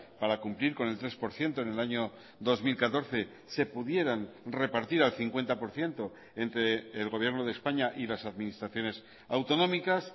para cumplir con el tres por ciento en el año dos mil catorce se pudieran repartir al cincuenta por ciento entre el gobierno de españa y las administraciones autonómicas